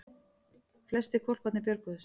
Flestir hvolparnir björguðust